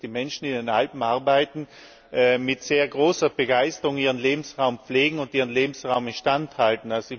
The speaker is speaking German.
Ich denke, dass die Menschen, die in den Alpen arbeiten, mit sehr großer Begeisterung ihren Lebensraum pflegen und ihren Lebensraum instand halten.